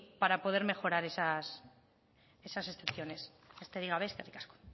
para mejorar esas excepciones besterik gabe eskerrik asko